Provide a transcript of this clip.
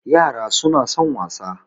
yara suna son wasa